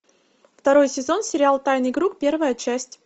второй сезон сериал тайный круг первая часть